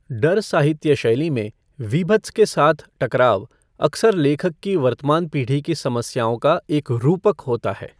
डर साहित्य शैली में, वीभत्स के साथ टकराव अक्सर लेखक की वर्तमान पीढ़ी की समस्याओं का एक रूपक होता है।